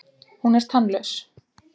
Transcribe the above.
Hún er tannlaus.